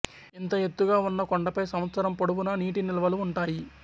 ఇంత ఎత్తుగా వున్న కొండపై సంవత్సరం పొడవునా నీటినిల్వలు వుంటాయి